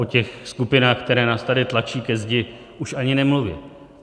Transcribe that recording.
O těch skupinách, které nás tady tlačí ke zdi už ani nemluvě.